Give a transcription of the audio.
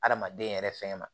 Adamaden yɛrɛ fɛn ma